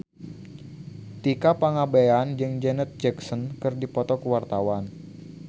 Tika Pangabean jeung Janet Jackson keur dipoto ku wartawan